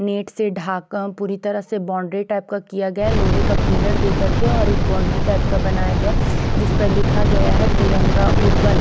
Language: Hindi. नेट से ढाका पूरी तरह से बाउंड्री टाइप का किया गया है लोहे का पिलर दे कर के और एक बाउंड्री टाइप का बनाया गया है जिसपे लिखा गया है तिरंगा उर्बन ।